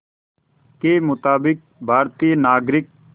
के मुताबिक़ भारतीय नागरिक